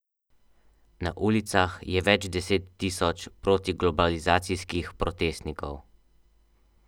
Na ulicah je več deset tisoč protiglobalizacijskih protestnikov.